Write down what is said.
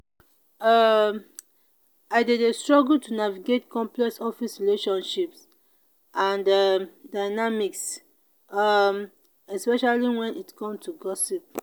um i dey dey struggle to navigate complex office relationships and um dynamics um especially when it come to gossip.